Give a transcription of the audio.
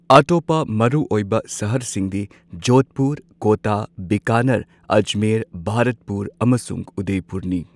ꯑꯇꯣꯞꯄ ꯃꯔꯨꯑꯣꯏꯕ ꯁꯍꯔꯁꯤꯡꯗꯤ ꯖꯣꯙꯄꯨꯔ, ꯀꯣꯇꯥ, ꯕꯤꯀꯥꯅꯦꯔ, ꯑꯖꯃꯦꯔ, ꯚꯥꯔꯠꯄꯨꯔ, ꯑꯃꯁꯨꯡ ꯎꯗꯢꯄꯨꯔꯅꯤ꯫